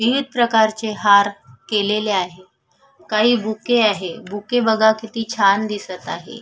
विविध प्रकारचे हार केलेले आहे काही बुके आहे बुके बघा किती छान दिसत आहे.